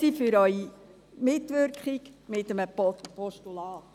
Danke für Ihre Mitwirkung bei einem Postulat.